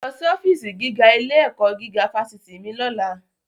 Lọ sí ọfíísì gíwá ilé-ẹ̀kọ́ gígá fásitì mi lọ́la!